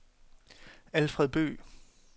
Alfred Bøgh